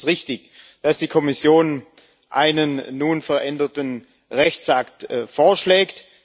Deswegen ist es richtig, dass die Kommission einen nun veränderten Rechtsakt vorschlägt.